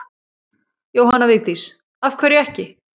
Jóhanna Vigdís: Af hverju ekki?